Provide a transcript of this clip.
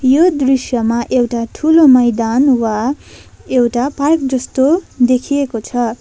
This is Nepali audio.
यो दृश्यमा एउटा ठूलो मैदान वा एउटा पार्क जस्तो देखिएको छ।